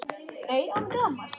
Nei, án gamans.